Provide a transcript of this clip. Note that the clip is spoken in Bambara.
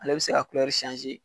Ale bi se ka